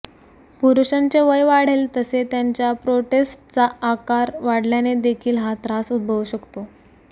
पुरुषांचे वय वाढेल तसे त्यांच्या प्रोस्टेटचा आकार वाढल्याने देखील हा त्रास उद्भवू शकतो